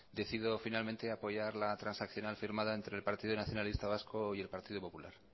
decido finalmente apoyar la transaccional firmada entre el partido nacionalista vasco y el partido popular